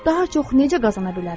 Daha çox necə qazana bilərəm?